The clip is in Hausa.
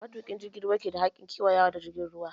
Matuƙin jirgin ruwa ke da hakkin ƙewayawa da jirgin ruwa.